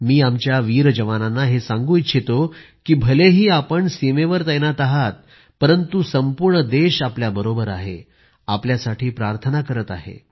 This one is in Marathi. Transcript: मी आमच्या वीर जवानांना हे सांगू इच्छितो की भलेही आपण सीमेवर तैनात आहात परंतु पूर्ण देश आपल्याबरोबर आहे आपल्यासाठी प्रार्थना करत आहे